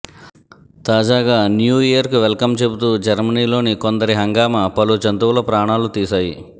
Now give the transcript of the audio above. తాజాగా న్యూఇయర్కు welcome చెబుతూ జర్మనిలోని కొందరి హంగామా పలు జంతువుల ప్రాణాలు తీశాయి